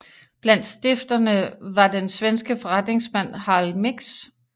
Blandt stifterne var den svenske forretningsmand Harald Mix